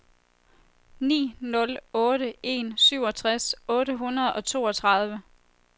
ni nul otte en syvogtres otte hundrede og toogtredive